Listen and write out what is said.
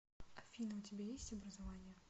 афина у тебя есть образование